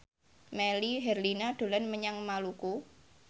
Melly Herlina dolan menyang Maluku